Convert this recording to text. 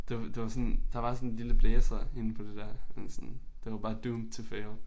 Det var det var sådan der var sådan lille blæser inde på det der og sådan. Det var bare doomed to fail